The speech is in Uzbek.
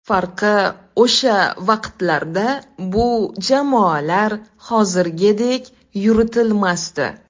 Farqi, o‘sha vaqtlarda bu jamoalar hozirgidek yuritilmasdi.